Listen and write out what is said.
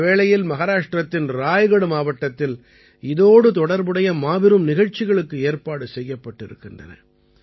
இந்த வேளையில் மஹாராஷ்டிரத்தின் ராய்கட் மாவட்டத்தில் இதோடு தொடர்புடைய மாபெரும் நிகழ்ச்சிகளுக்கு ஏற்பாடு செய்யப்பட்டிருக்கின்றன